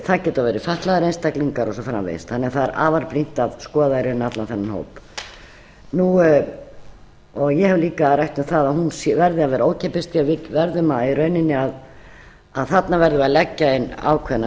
það geta verið fatlaðir einstaklingar og svo framvegis þannig að það er afar brýnt að skoða í rauninni allan þennan hóp ég hef líka rætt um að hún verði að vera ókeypis því að þarna verðum við að leggja inn ákveðna